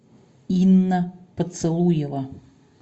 инна поцелуева